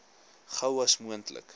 gou as moontlik